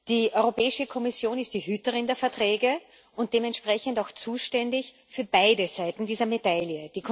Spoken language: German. Die Europäische Kommission ist die Hüterin der Verträge und dementsprechend auch zuständig für beide Seiten dieser Medaille.